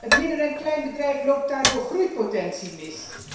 Het midden en kleinbedrijf loopt daardoor groeipotentie mis.